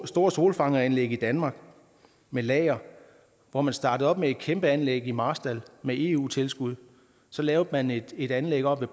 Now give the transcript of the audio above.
store solfangeranlæg i danmark med lager hvor man startede op med et kæmpe anlæg i marstal med eu tilskud så lavede man et et anlæg oppe